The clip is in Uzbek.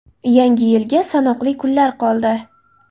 Yangi Yilga sanoqli kunlar qoldi.